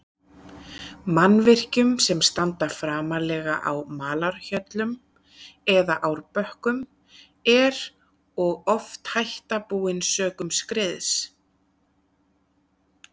Mannvirkjum sem standa framarlega á malarhjöllum eða árbökkum, er og oft hætta búin sökum skriðs.